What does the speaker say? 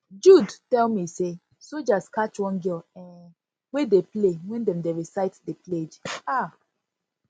jude tell jude tell me say soldiers catch one girl um wey dey play wen dem dey recite the pledge um